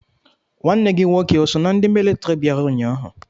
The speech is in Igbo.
Nwanne gi nwoke o so na ndi mịlịtịrị biara ụnyaahụ?